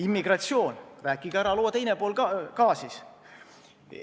Immigratsioon – rääkige ära ka loo teine pool!